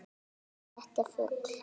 Þetta er fugl.